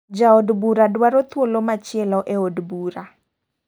Ja od bura dwro thuolo machielo e od bura.